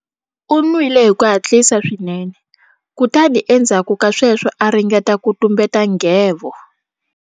U nwile hi ku hatlisa swinene kutani endzhaku ka sweswo a ringeta ku tumbeta nghevo.